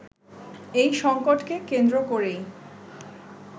এই সংকটকে কেন্দ্র করেই